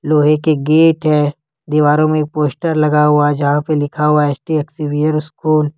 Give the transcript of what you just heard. लोहे के गेट है दीवारों में पोस्टर लगा हुआ जहां पे लिखा हुआ यस टी एक्सवियर्स स्कूल ।